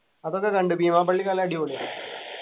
അതൊക്കെ കണ്ടു ബീമാ പള്ളി നല്ല അടിപൊളിയാ